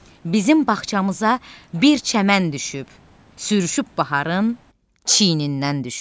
Bizim bağçamıza bir çəmən düşüb, sürüşüb baharın çiynindən düşüb.